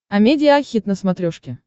амедиа хит на смотрешке